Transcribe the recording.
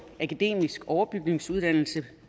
akademisk overbygningsuddannelse